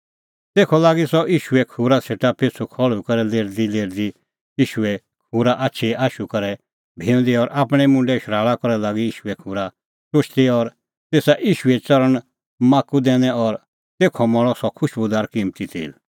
तेखअ लागी सह ईशूए खूरा सेटा पिछ़ू खल़्हुई करै लेरदीलेरदी ईशूए खूरा आछिए आशू करै भेऊंदी और आपणैं मुंडे शराल़ा करै लागी ईशूए खूरा टुशदी और तेसा ईशूए च़रणैं माख्खू दैनै और तेथ मल़अ सह खुशबूदार किम्मती तेल